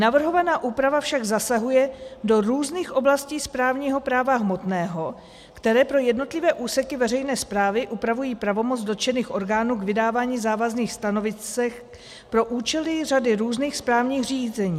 Navrhovaná úprava však zasahuje do různých oblastí správního práva hmotného, které pro jednotlivé úseky veřejné správy upravují pravomoc dotčených orgánů k vydávání závazných stanovisek pro účely řady různých správních řízení.